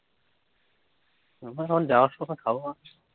জাবা সময় খাবো আজ